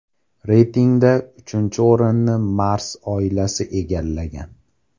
Reytingda uchinchi o‘rinni Mars oilasi egallagan.